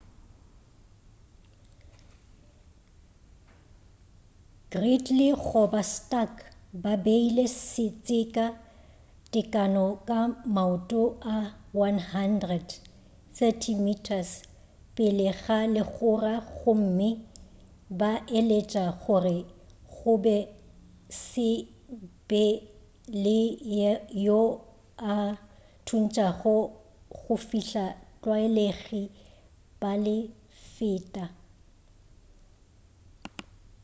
gridley goba stark ba beile setseka tekano ya maoto a 100 30 m pele ga legora gomme ba laetša gore go se be le yo a thuntšago go fihla batlwaelegi ba le feta